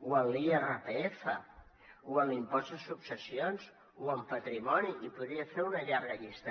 o en l’irpf o en l’impost de successions o en patrimoni i podria fer una llarga llista